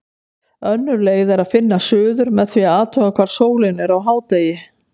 Önnur leið er að finna suður með því að athuga hvar sólin er á hádegi.